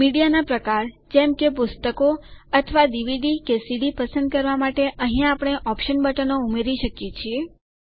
મીડિયાનાં પ્રકાર જેમ કે પુસ્તકો અથવા ડીવીડી કે સીડી પસંદ કરવાં માટે અહીંયા આપણે ઓપ્શન્સ બટનો ઉમેરી શકીએ છીએ